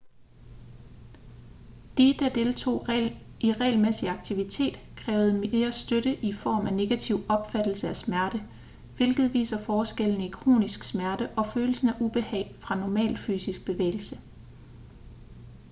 de der deltog i regelmæssig aktivitet krævede mere støtte i form af negativ opfattelse af smerte hvilket viser forskellene i kronisk smerte og følelsen af ubehag fra normal fysisk bevægelse